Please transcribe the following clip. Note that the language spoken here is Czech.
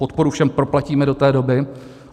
Podporu všem proplatíme do té doby.